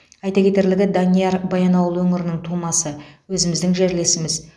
айта кетерлігі данияр баянауыл өңірінің тумасы өзіміздің жерлесіміз